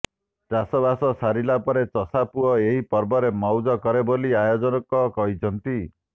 ଚାଷ ବାସ ସରିଲା ପରେ ଚଷା ପୁଅ ଏହି ପର୍ବରେ ମଉଜ କରେ ବୋଲି ଆୟୋଜକ କହିଛନ୍ତି